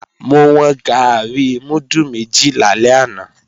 Mo wọn gàárì múdù méjì lálẹ́ àná